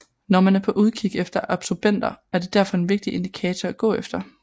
Når man er på udkig efter absobenter er det derfor en vigtig indikator at gå efter